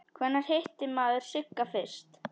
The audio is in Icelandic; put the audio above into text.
Hvenær hitti maður Sigga fyrst?